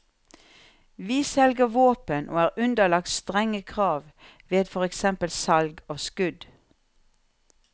Vi selger våpen og er underlagt strenge krav ved for eksempel salg av skudd.